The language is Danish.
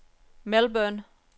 Melbourne